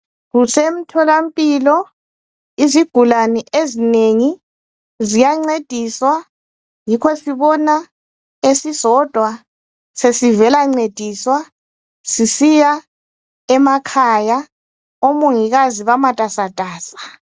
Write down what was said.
Kusemtholampilo izigulane ezinengi ziyancediswa yikho sibona esisodwa sesivela ncediswa sisiya emakhaya, omongikazi bamatasatasa.